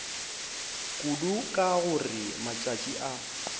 kudu ka gore matšatši a